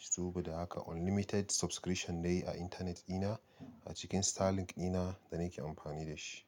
Saboda haka unlimited subscription ne a intanet ina a cikin Starlink dina da nake amfani da shi.